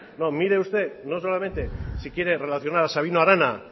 mire usted no solamente si quiere relacional sabino arana